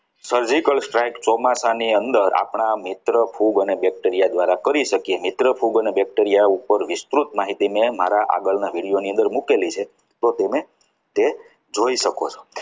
surgical strike ચોમાસાની અંદર આપણી મિત્ર ખૂબ અને bacteria દ્વારા કરી શકીએ છીએ મિત્ર ફૂગ અને bacteria ઉપર વિસ્તૃત માહિતી મેં મારા આગળના video ની અંદર મૂકેલી છે તો તેને તે જોઈ શકો છો.